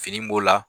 Fini b'o la